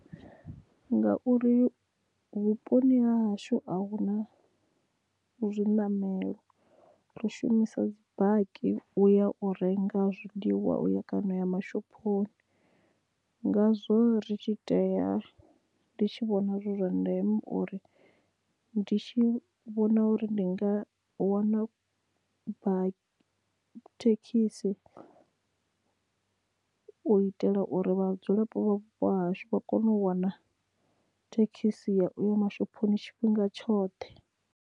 Ngauri vhuponi ha hashu ahuna zwiṋamelo ri shumisa dzi baki u ya u renga zwiḽiwa kana ya mashophoni ngazwo ri tshi tea ndi tshi vhona zwi zwa ndeme uri ndi tshi vhona uri ndi nga wana thekhisi u itela uri vhadzulapo vha vhupo hashu vha kone u wana thekhisi ya uya mashophoni tshifhinga tshoṱhe.